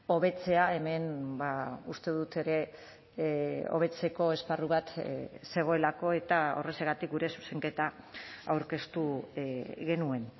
hobetzea hemen uste dut ere hobetzeko esparru bat zegoelako eta horrexegatik gure zuzenketa aurkeztu genuen